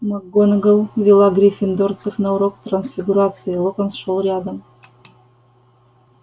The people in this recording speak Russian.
макгонагалл вела гриффиндорцев на урок трансфигурации локонс шёл рядом